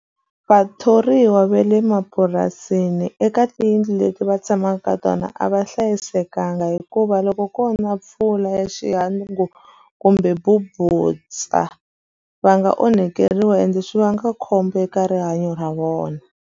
Vathoriwa va le mapurasini eka tiyindlu leti va tshamaka ka tona a va hlayisekanga. Hikuva loko ko na mpfula ya xihangu kumbe mabubutsa, va nga onhakeriwa ende swi vanga khombo eka rihanyo ra vona.